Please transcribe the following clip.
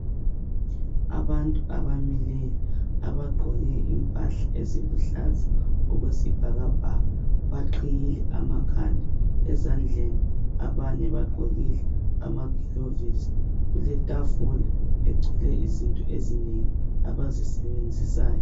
Abantu abamileyo abagqoke impahla eziluhlaza okwesibhakabhaka. Baqhiyile amakhanda ezandleni abanye bagqokile amagilovisi. Kuletafula egcwele izinto ezinengi abazisebenzisayo.